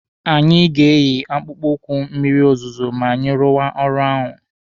Anyị ga-eyi akpụkpọ ụkwụ mmịrị ozuzu ma anyị rụwa ọrụ ahụ.